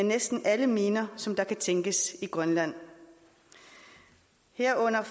næsten alle miner som kan tænkes i grønland herunder